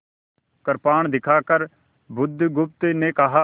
कृपाण दिखाकर बुधगुप्त ने कहा